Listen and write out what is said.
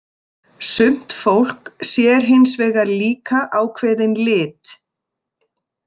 Sumt fólk sér hins vegar líka ákveðinn lit.